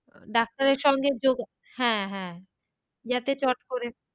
ডাক্তারের সঙ্গে যোগা হ্যাঁ হ্যাঁ যাতে চট করে,